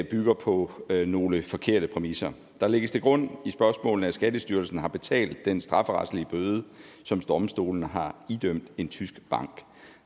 bygger på nogle forkerte præmisser der lægges til grund i spørgsmålene at skattestyrelsen har betalt den strafferetlige bøde som domstolene har idømt en tysk bank